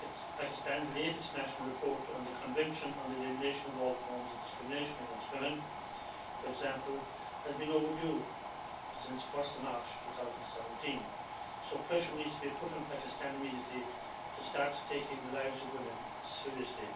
Pakistan's latest national report on the Convention on the Elimination of All Forms of Discrimination against Women, for example, has been overdue since 1 March 2017, so pressure needs to be put on Pakistan immediately to start taking the lives of women seriously.